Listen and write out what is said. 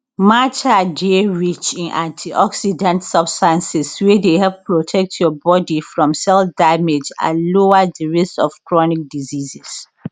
matcha dey rich in antioxidants substances wey dey help protect your body from cell damage and lower di risk of chronic diseases